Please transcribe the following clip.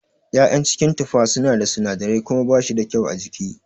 ya'yan cikin tufa suna da sinadirai kuma bashi da kyau a jiki.